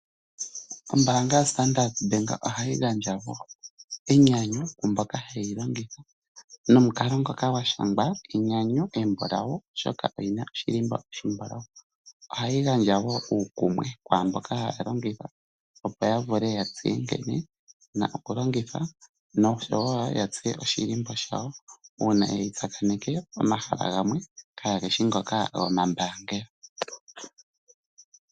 Ombaanga yaStandard Bank ohayi gandja wo enyanyu kwaamboka haye yi longitha nomukalo ngoka gwa shangwa enyanyu embulawu, oshoka oyina oshilimbo oshimbulawu. Ohayi gandja wo uukumwe kwaamboka haye yi longitha, opo ya vule ya tseye nkene yina oku longwa noshowo ya tseye oshilimbo shawo uuna ye yi tsakaneneke pomahala gamwe kaageshi ngoka gomambaangelo.